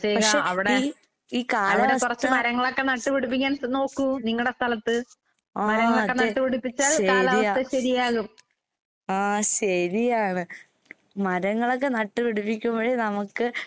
പക്ഷെ ഈ ഈ കാലാവസ്ഥ, ആഹ് അതെ ശെരിയാ ആഹ് ശെരിയാണ്. മരങ്ങളൊക്കെ നട്ട് പിടിപ്പിക്കുമ്പഴേ നമക്ക്